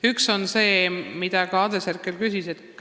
Üks on see, mille kohta küsis ka Andres Herkel.